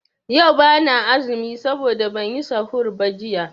Yau bana azumi saboda banyi sahur ba jiya.